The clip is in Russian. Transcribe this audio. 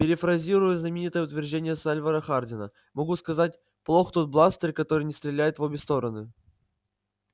перефразируя знаменитое утверждение сальвора хардина могу сказать плох тот бластер который не стреляет в обе стороны